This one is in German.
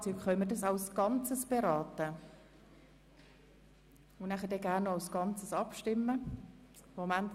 Wir sind nun bei Kapitel II. angelangt, beim Gesetz über die Besteuerung von Strassenfahrzeugen (BSFG).